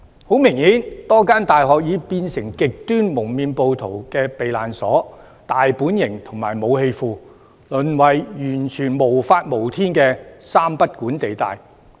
很明顯，多間大學已變成極端蒙面暴徒的避難所、大本營和武器庫，淪為完全無法無天的三不管地帶。